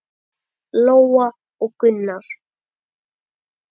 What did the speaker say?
Lóa og Gunnar.